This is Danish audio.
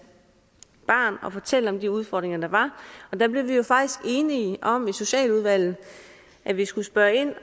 barn og fortælle om de udfordringer der var og der blev vi jo faktisk enige om i socialudvalget at vi skulle spørge ind